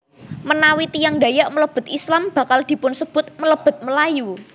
Menawi tiyang Dayak mlebet Islam bakal dipunsebut mlebet Melayu